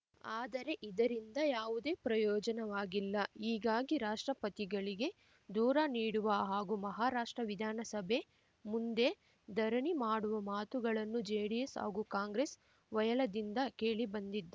ಆದರೆ ಇದರಿಂದ ಯಾವುದೇ ಪ್ರಯೋಜನವಾಗಿಲ್ಲ ಹೀಗಾಗಿ ರಾಷ್ಟ್ರಪತಿಗಳಿಗೆ ದೂರ ನೀಡುವ ಹಾಗೂ ಮಹಾರಾಷ್ಟ್ರ ವಿಧಾನಸಭೆ ಮುಂದೆ ಧರಣಿ ಮಾಡುವ ಮಾತುಗಳನ್ನು ಜೆಡಿಎಸ್‌ ಹಾಗೂ ಕಾಂಗ್ರೆಸ್‌ ವಲಯದಿಂದ ಕೇಳಿಬಂದಿದ್